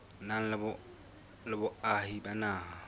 nang le boahi ba naha